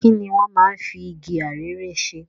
Kini wọ́n máa ń fi igi arère ṣe?